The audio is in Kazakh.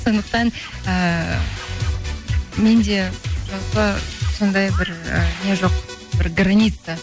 сондықтан ііі менде жалпы сондай бір і не жоқ бір граница